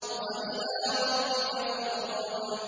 وَإِلَىٰ رَبِّكَ فَارْغَب